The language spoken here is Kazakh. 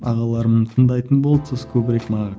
ағаларым тыңдайтын болды сосын көбірек